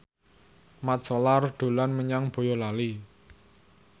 Mat Solar dolan menyang Boyolali